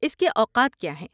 اس کے اوقات کیا ہیں؟